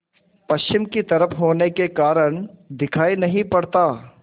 पश्चिम की तरफ होने के कारण दिखाई नहीं पड़ता